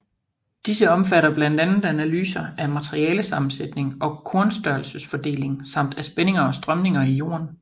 Disse omfatter blandt andet analyser af materialesammensætning og kornstørrelsesfordeling samt af spændinger og strømninger i jorden